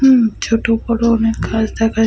উম ছোট বড় অনেক গাছ দেখা যা-- ?>